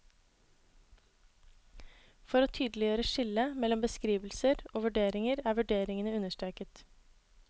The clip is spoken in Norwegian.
For å tydeliggjøre skillet mellom beskrivelser og vurderinger er vurderingene understreket.